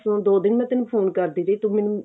ਦੋ ਦਿਨ ਮੈਂ ਤੇਨੂੰ phone ਕਰਦੀ ਰਹੀ ਤੂੰ ਮੈਨੂੰ